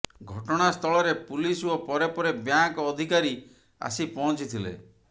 ଘଟଣାସ୍ଥଳରେ ପୁଲିସ ଓ ପରେ ପରେ ବ୍ୟାଙ୍କ ଅଧିକାରୀ ଆସି ପହଞ୍ଚି ଥିଲେ